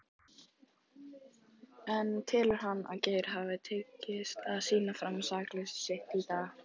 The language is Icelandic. En telur hann að Geir hafi tekist að sýna fram á sakleysi sitt í dag?